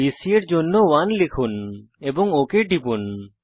BC এর জন্য 1 লিখুন এবং ওক টিপুন